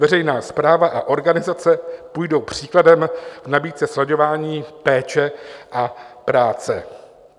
Veřejná správa a organizace půjdou příkladem v nabídce slaďování péče a práce."